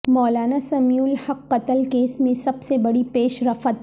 مولانا سمیع الحق قتل کیس میں سب سے بڑی پیش رفت